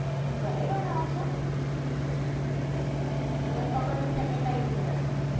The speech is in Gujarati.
હેં ઘરે બનાઓ છો! એવીયા પકોડી નું packet લાયી દેવાનું